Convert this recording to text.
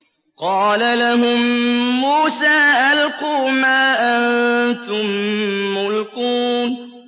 قَالَ لَهُم مُّوسَىٰ أَلْقُوا مَا أَنتُم مُّلْقُونَ